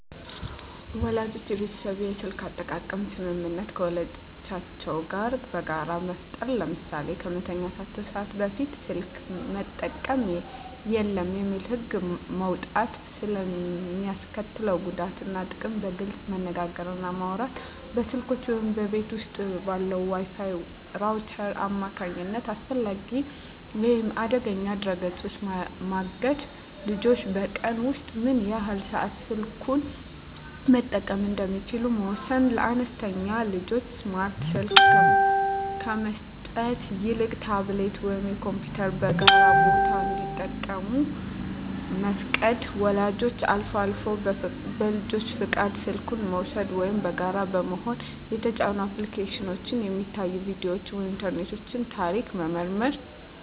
ወላጆች የቤተሰብ የስልክ አጠቃቀም ስምምነት ከልጆቻቸው ጋር በጋራ መፍጠር። ለምሳሌ "ከመተኛት ሰዓት በፊት ስልክ መጠቀም የለም" የሚል ህግ መውጣት። ስለ ሚስከትለው ጉዳት እና ጥቅም በግልፅ መነጋገር እና ማውራት። በስልኮች ወይም በቤት ውስጥ ባለው የWi-Fi ራውተር አማካኝነት አላስፈላጊ ወይም አደገኛ ድረ-ገጾችን ማገድ። ልጆች በቀን ውስጥ ምን ያህል ሰዓት ስልኩን መጠቀም እንደሚችሉ መወሰን። ለአነስተኛ ልጆች ስማርት ስልክ ከመስጠት ይልቅ ታብሌት ወይም ኮምፒውተርን በጋራ ቦታ እንዲጠቀሙ መፍቀድ። ወላጆች አልፎ አልፎ በልጁ ፈቃድ ስልኩን በመውሰድ (ወይም በጋራ በመሆን) የተጫኑ አፕሊኬሽኖች፣ የሚታዩ ቪዲዮዎች ወይም የኢንተርኔት ታሪክ መመርመር።